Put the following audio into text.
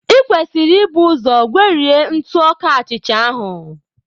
I kwesịrị ibu ụzọ gwerie ntụ ọka achịcha ahụ.